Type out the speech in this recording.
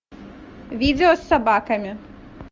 видео с собаками